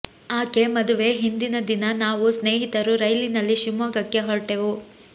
ಆಕೆ ಮದುವೆ ಹಿಂದಿನ ದಿನ ನಾವು ಸ್ನೇಹಿತರು ರೈಲಿನಲ್ಲಿ ಶಿವಮೊಗ್ಗಕ್ಕೆ ಹೊರಟೆವು